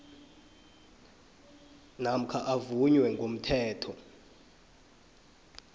namkha avunywe ngomthetho